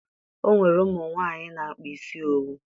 O nwere ụmụ nwaanyị na-akpa isi owu